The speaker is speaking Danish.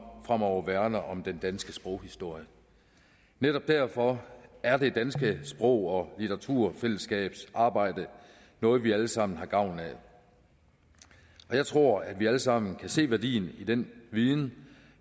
fremover værner om den danske sproghistorie netop derfor er det danske sprog og litteraturselskabs arbejde noget vi alle sammen har gavn af jeg tror at vi alle sammen kan se værdien af den viden